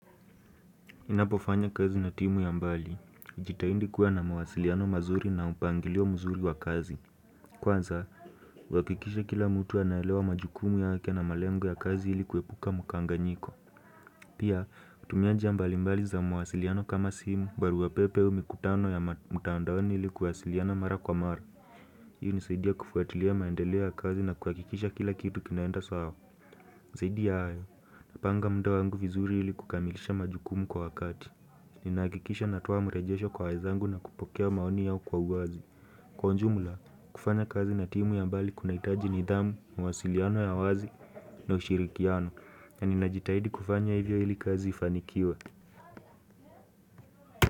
Ninapofanya kazi na timu ya mbali. Jitaindi kuwa na mawasiliano mazuri na upangilio muzuri wa kazi. Kwanza, huakikisha kila mtu anaelewa majukumu yake na malengo ya kazi ili kuepuka mkanganyiko. Pia, kutumia njia mbali mbali za mawasiliano kama simu, barua pepe au mikutano ya mtandaoni ili kuwasiliana mara kwa mara. Hii unisaidia kufuatilia maendeleo ya kazi na kuakikisha kila kitu kinaenda sawa zaidi ya hayo Napanga muda wangu vizuri ili kukamilisha majukumu kwa wakati Ninaakikisha natoa mrejesho kwa wenzangu na kupokea maoni yao kwa uwazi Kwa ujumula, kufanya kazi na timu ya mbali kunaitaji nidhamu, mawasiliano ya wazi na ushirikiano na ninajitahidi kufanya hivyo ili kazi ifanikiwe.